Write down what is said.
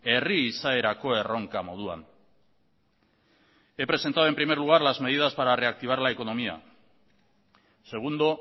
herri izaerako erronka moduan he presentado en primer lugar las medidas para reactivar la economía segundo